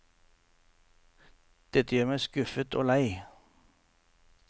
Dette gjør meg skuffet og lei.